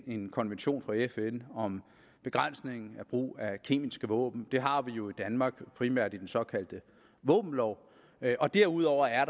en konvention fra fn om begrænsning af brugen af kemiske våben det har vi jo i danmark primært i den såkaldte våbenlov og derudover er